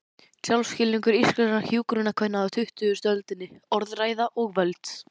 Sjálfsskilningur íslenskra hjúkrunarkvenna á tuttugustu öldinni: Orðræða og völd.